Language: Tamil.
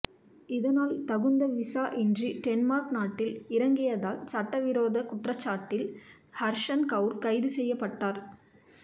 இதனால் தகுந்த விசா இன்றி டென்மார்க் நாட்டில் இறங்கியதால் சட்ட விரோதக் குற்றச்சாட்டில் ஹர்ஷன் கவுர் கைது செய்யப்பட்டார்